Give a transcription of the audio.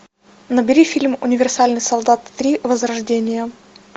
набери фильм универсальный солдат три возрождение